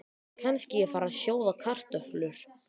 Kannski ég fari að sjóða kartöflur.